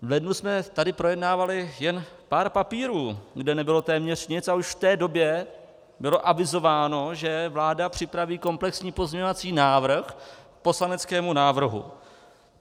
V lednu jsme tady projednávali jen pár papírů, kde nebylo téměř nic, a už v té době bylo avizováno, že vláda připraví komplexní pozměňovací návrh k poslaneckému návrhu.